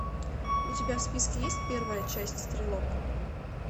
у тебя в списке есть первая часть стрелок